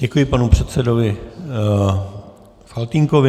Děkuji panu předsedovi Faltýnkovi.